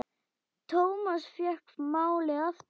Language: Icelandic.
Thomas fékk málið aftur.